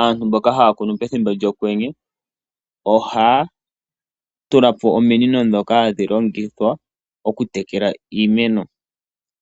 aantu mboka haya kunu pethimbo lyokwenye ohaya tula po ominino ndhoka hadhi longithwa okutekela iimeno.